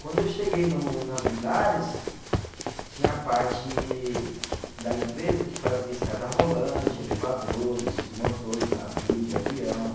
Quando eu cheguei no na Villares, tinha a parte da empresa que fazia escada rolante, elevadores, motor de navio, de avião.